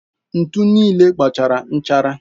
Ntu niile agbachaala nchara.